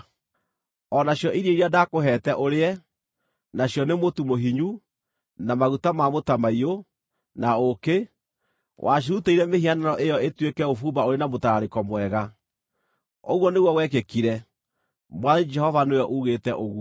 O nacio irio iria ndaakũheete ũrĩe, nacio nĩ mũtu mũhinyu, na maguta ma mũtamaiyũ, na ũũkĩ, wacirutĩire mĩhianano ĩyo ĩtuĩke ũbumba ũrĩ na mũtararĩko mwega. Ũguo nĩguo gwekĩkire, Mwathani Jehova nĩwe ugĩte ũguo.